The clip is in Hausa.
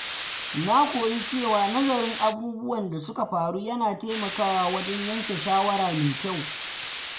Na koyi cewa nazarin abubuwan da suka faru yana taimakawa wajen yanke shawara mai kyau.